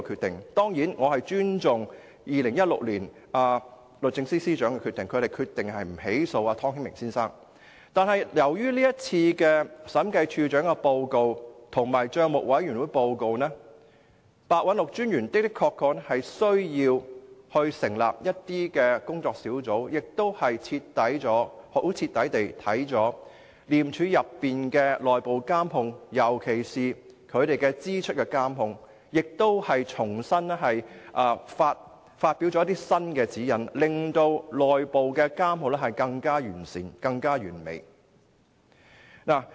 當然，我尊重律政司司長在2016年的決定，不起訴湯顯明先生，但由於該份審計署署長報告和帳委會的報告，廉政專員白韞六的確需要成立一些工作小組，徹底檢視廉署的內部監控，尤其是對支出的監控，並重新發出指引，令內部監控更完善和完美。